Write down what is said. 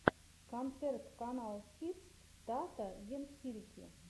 концерт каналкидс тата ен хирики